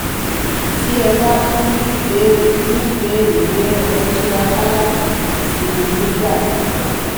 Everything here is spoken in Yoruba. tí ẹ bá tún ní ìbéèrè ní ìbéèrè mìíràn ẹ túraká láti kàn sí mi nígbàkúùgbà